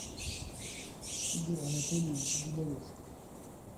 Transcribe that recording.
игорь анатольевич губарев